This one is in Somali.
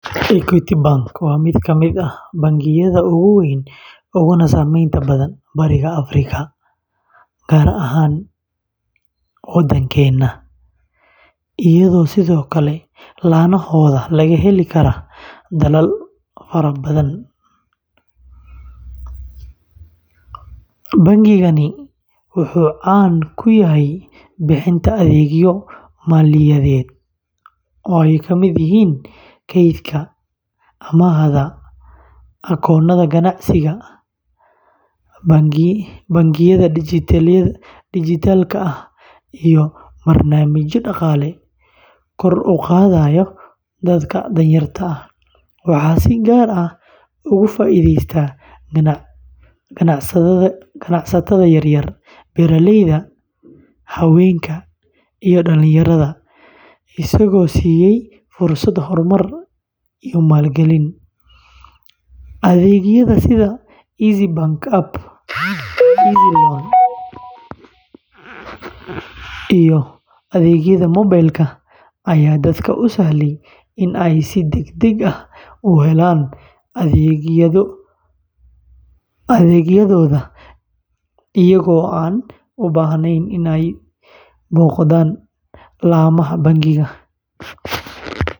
Equity Bank waa mid ka mid ah bangiyada ugu waaweyn uguna saameynta badan Bariga Afrika, gaar ahaan Kenya, iyadoo sidoo kale laanahooda laga heli karo dalal badhan. Bangigani wuxuu caan ku yahay bixinta adeegyo maaliyadeed oo ay ka mid yihiin kaydka, amaahda, akoonnada ganacsiga, bangiyada dhijitaalka ah, iyo barnaamijyo dhaqaale kor u qaadaya dadka danyarta ah. Waxaa si gaar ah ugu faa’iideystay ganacsatada yaryar, beeraleyda, haweenka, iyo dhallinyarada, isagoo siiyay fursado horumar iyo maalgelin. Adeegyada sida Eazzy Banking App, Eazzy Loan, iyo adeegyada mobel-ka ayaa dadka u sahlay in ay si degdeg ah u helaan adeegyadooda iyagoo aan u baahnayn in ay booqdaan laamaha bangiga.